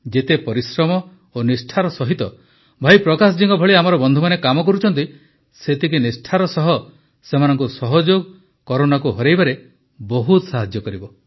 ଯେତେ ପରିଶ୍ରମ ଓ ନିଷ୍ଠାର ସହିତ ଭାଇ ପ୍ରକାଶ ଜୀଙ୍କ ଭଳି ଆମର ବନ୍ଧୁମାନେ କାମ କରୁଛନ୍ତି ସେତିକି ନିଷ୍ଠାର ସହ ସେମାନଙ୍କୁ ସହଯୋଗ କରୋନାକୁ ହରାଇବାରେ ବହୁତ ସାହାଯ୍ୟ କରିବ